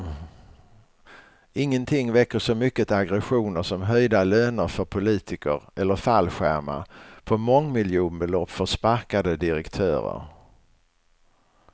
Ingenting väcker så mycket aggressioner som höjda löner för politiker eller fallskärmar på mångmiljonbelopp för sparkade direktörer.